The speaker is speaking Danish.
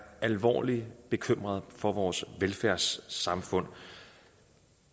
alvorlig bekymret for vores velfærdssamfund